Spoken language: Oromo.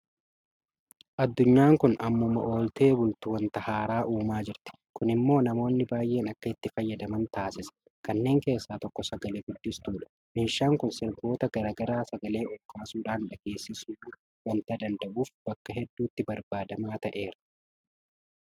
Addunyaan kun ammuma ooltee bultu waanta haaraa uumaa jirti. Kun immoo namoonni baay'een akka itti fayyadaman taasisa. Kanneen keessaa tokko sagalee guddistuudha. Meeshaan kun sirboota garaa garaa sagee olkaasuudhaan dhageessisuu waanta danda'uuf bakka hedduutti barbaadamaa ta'eera.